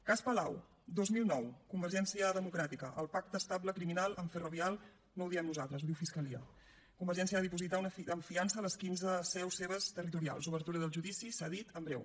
cas palau dos mil nou convergència democràtica el pacte estable criminal amb ferrovial no ho diem nosaltres ho diu fiscalia convergència va dipositar en fiança les quinze seus seves territorials obertura del judici s’ha dit en breu